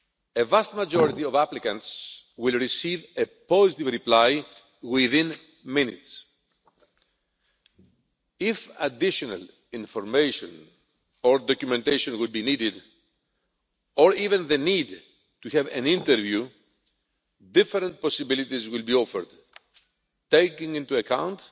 The vast majority of applicants will receive a positive reply within minutes. If additional information or documentation were to be needed, or even the need to have an interview, different possibilities will be offered, taking into account